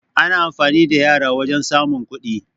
Ana amfani da yara wajan samun kuɗi